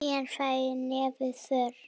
Síðan ræður nefið för.